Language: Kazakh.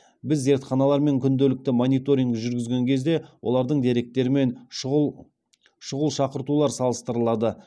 біз зертханалармен күнделікті мониторинг жүргізген кезде олардың деректері мен шұғыл шақыртулар салыстырылады